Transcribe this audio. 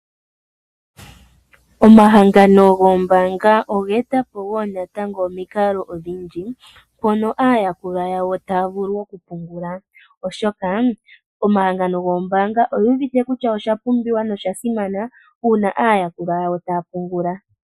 Omahangano gombaanga ogeta po wo natango omikalo odhindji mpoka aayakulwa yawo taya pungula, oshoka omahangano goombanga ogewete kutya oshapumbiwa na oshasimana una aayakulwa yawo taya pungula.